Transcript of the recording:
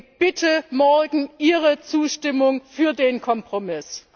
Deswegen bitte morgen Ihre Zustimmung zum Kompromiss!